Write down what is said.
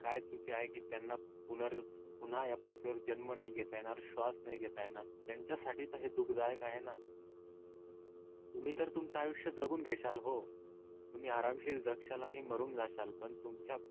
काय चुकी आहे की त्यांना पुनर पुन्हा या पृथ्वी वर जन्म नाही घेता येणार श्वास नाही घेता येणार त्यांच्या साठी तर हे दुखः दायक आहे ना. तुम्ही तर तुमच आयुष्य जगून घेताल हो. तुम्ही आरामशील जगताल आणि मरून जाताल पण तुमच्या